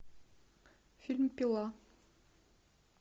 фильм пила